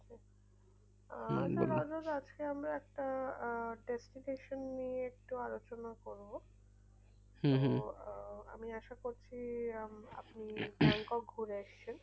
আজকে আমরা একটা আহ satisfaction নিয়ে একটু আলোচনা করবো। আহ আমি আশা করছি আপনি ব্যাংকক ঘুরে এসেছেন